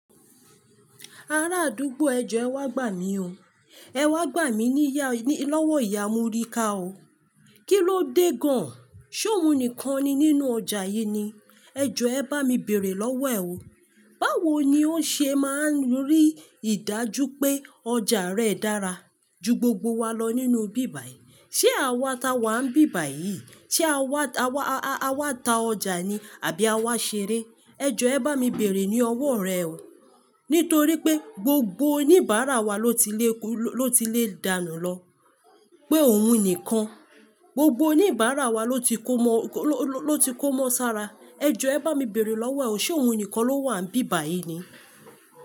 Ara àdúgbò ẹ jọ ẹ wá gbà mí o. Ẹ wá gbà mí níya, ní lọ́wọ́ ìyá Morika o. Kí ló dé gan-an? Ṣé òun nìkan ni nínú ọjà yìí ni? Ẹ jọ ẹ bá mi bèrè lọ́wọ́ ẹ o. Báwo ni ó ṣe máa ń rí ìdájú pé ọjà rẹ dára ju gbogbo wa lọ nínú ibíbà yìí? Ṣé àwa ta wa ń bíbà yìí? Ṣé àwa, àwa, a-a-àwa ta ọjà ni àbí àwa ṣeré? Ẹ jọ ẹ bá mi bèrè ní ọwọ́ rẹ o. Nítorí pé gbogbo oníbàárà wa ló ti lè kó, ló ti lè dànù lọ pé òun nìkan. Gbogbo oníbàárà wa ló ti kó mọ́, ló, ló, ló ti kó mọ́ sára. Ẹ jọ ẹ bá mi bèrè lọ́wọ́ ẹ o. Ṣé òun nìkan ló wà ń bíbà yìí ni?